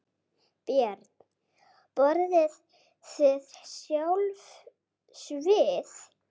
Björn: Borðið þið sjálf svið?